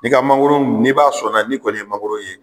I ka mangoro m n'i b'a sɔnna n'i kɔni ye mangoro ye